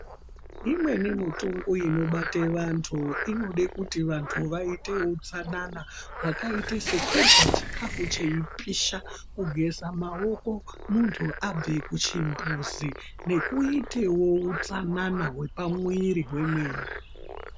Imweni mitungu inobate vantu, inode kuti vantu vayite utsanana, wakayite sekurya chikafu cheyipisha, kugeza maoko muntu abve kuchimbuzi ,nekuyitewo utsanana hwepamwiri hwemene.